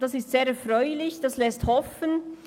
Das ist sehr erfreulich und lässt hoffen.